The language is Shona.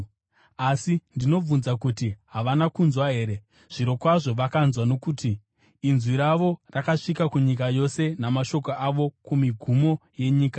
Asi ndinobvunza kuti: Havana kunzwa here? Zvirokwazvo vakanzwa, nokuti: “Inzwi ravo rakasvika kunyika yose, namashoko avo kumigumo yenyika.”